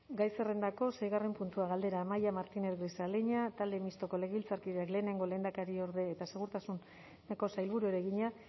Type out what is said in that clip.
gai zerrendako seigarren puntua galdera amaia martínez grisaleña talde mistoko legebiltzarkideak lehenengo lehendakariorde eta segurtasuneko sailburuari egina